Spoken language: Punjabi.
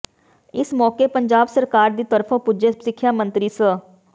ਇਸ ਮੌਕੇ ਪੰਜਾਬ ਸਰਕਾਰ ਦੀ ਤਰਫੋਂ ਪੁੱਜੇ ਸਿੱਖਿਆ ਮੰਤਰੀ ਸ